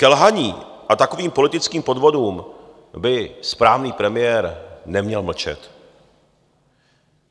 Ke lhaní a takovým politickým podvodům by správný premiér neměl mlčet.